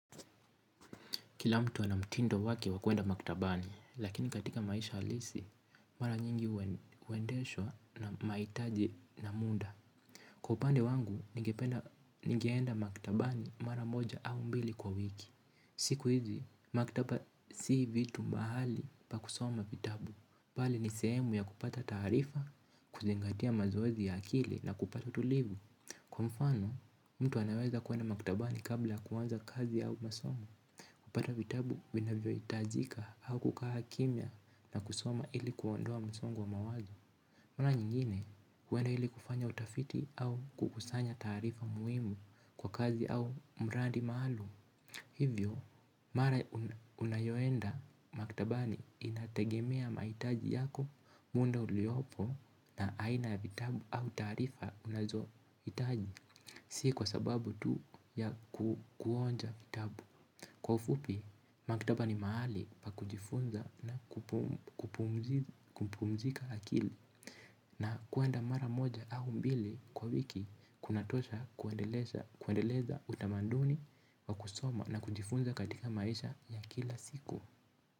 Kila mtu ana mtindo wake wa kuenda maktabani, lakini katika maisha halisi, mara nyingi huendeshwa na mahitaji na muda. Kwa upande wangu, ningeenda maktabani mara moja au mbili kwa wiki. Siku hizi, maktaba si vitu mahali pa kusoma vitabu. Bali ni sehemu ya kupata taarifa, kuzingatia mazoezi ya akili na kupata utulivu. Kwa mfano, mtu anaweza kuenda maktabani kabla ya kuanza kazi au masomo. Kupata vitabu vinavyo hitajika au kukaa kimya na kusoma ili kuondoa msongo wa mawazo. Mara nyingine huenda ili kufanya utafiti au kukusanya taarifa muhimu kwa kazi au mradi maalum. Hivyo, mara unayoenda maktabani inategemea mahitaji yako muda uliopo na aina ya vitabu au taarifa unazo hitaji. Si kwa sababu tu ya kuonja vitabu. Kwa ufupi, maktaba ni mahali pa kujifunza na kupumzika akili na kuenda mara moja au mbili kwa wiki kunatosha kuendeleza utamaduni wa kusoma na kujifunza katika maisha ya kila siku.